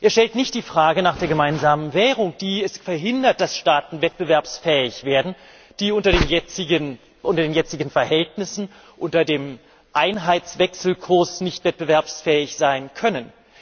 Er stellt nicht die Frage nach der gemeinsamen Währung, die es verhindert, dass Staaten wettbewerbsfähig werden, die unter den jetzigen Verhältnissen, unter dem Einheitswechselkurs, nicht wettbewerbsfähig sein können.